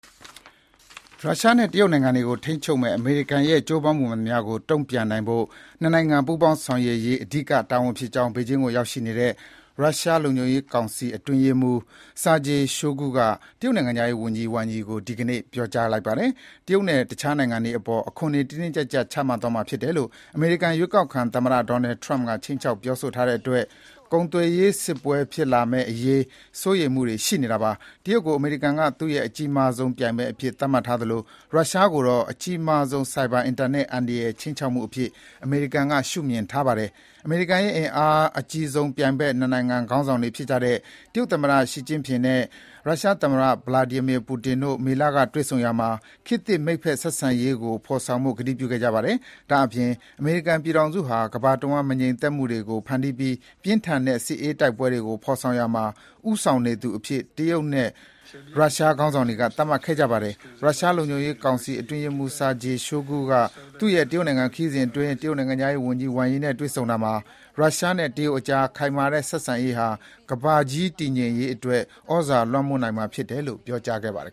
ရုရှားနဲ့တရုတ်နိုင်ငံတွေကိုထိန်းချုပ်မယ့် အမေရိကန်ရဲ့ ကြိုးပမ်းမှုမှန်သမျှကို တန်ပြန်နိုင်ဖို့ နှစ်နိုင်ငံ ပူးပေါင်းဆောင်ရွက်ရေး အဓိကတာ၀န်ဖြစ်ကြောင်း ဘေဂျင်းကိုရောက်နေတဲ့ ရုရှားလုံခြုံရေးကောင်စီ အတွင်းရေးမှူး Sergei Shoigu (ဆာဂျီ ရှိုဂူ) က တရုတ်နိုင်ငံခြားရေး၀န်ကြီး Wang Yi ကို ဒီကနေ့ ပြောကြားခဲ့ပါတယ်။ တရုတ်နဲ့အခြားနိုင်ငံတွေအပေါ် အခွန်တွေ တင်းတင်းကြပ်ကြပ် ချမှတ်သွားမှာဖြစ်တယ်လို့ အမေရိကန် ရွေးကောက်ခံသမ္မတ Donald Trump ခြိမ်းခြောက်ပြောဆိုထားတဲ့အတွက် ကုန်သွယ်ရေးစစ်ပွဲတွေ ဖြစ်လာမယ့်အရေး စိုးရိမ်မှုတွေရှိနေကြတာပါ။ တရုတ်ကို အမေရိကန်က သူ့ရဲ့ အကြီးမားဆုံးပြိုင်ဘက် အဖြစ် သတ်မှတ်ထားသလို ရုရှားကိုတော့အကြီးမားဆုံးဆိုက်ဘာအင်တာနက် အန္တရာယ်ခြိမ်းခြောက်မှု အဖြစ် အမေရိကန်က ရှုမြင်ထားပါတယ်။ အမေရိကန်ရဲ့ အင်အားအကြီးဆုံး ပြိုင်ဘက်နှစ်နိုင်ငံခေါင်းဆောင်တွေဖြစ်တဲ့ တရုတ်သမ္မတ Xi Jinping နဲ့ ရုရှားသမ္မတPutin တို့ မေလကတွေ့ဆုံရာမှာ ခေတ်သစ် မိတ်ဖက်ဆက်ဆံရေးဖေါ်ဆောင်ဖို့ ကတိပြု ခဲ့ကြတာပါ။ ဒါအပြင် အမေရိကန်ပြည်ထောင်စုဟာ ကမ္ဘာတဝှမ်း မငြိမ်မသက်မှုတွေကို ဖန်တီးပြီး ပြင်းထန်တဲ့ စစ်အေးတိုက်ပွဲတွေကို ဖေါ်ဆောင်ရာမှာ ဦးဆောင်နေသူအဖြစ် တရုတ်နဲ့ ရုရှား ခေါင်းဆောင်တွေက သတ်မှတ်ခဲ့ကြပါတယ်။ ရုရှားလုံခြုံရေးကောင်စီအတွင်းရေးမှူး Sergei Shoigu (ဆာဂျီ ရှိုဂူ) ကသူ့ရဲ့ တရုတ်နိုင်ငံခရီးစဥ်အတွင်း တရုတ်နိုင်ငံခြားရေး၀န်ကြီး Wang Yi နဲ့တွေ့ဆုံရာမှာ ရုရှားနဲ့တရုတ်ကြား ခိုင်မာတဲ့ဆက်ဆံရေးဟာ ကမ္ဘာကြီး တည်ငြိမ်ရေးအတွက် သြဇာလွှမ်းမိုးနိုင်မှာဖြစ်တယ်လို့ ပြောကြားခဲ့ပါတယ်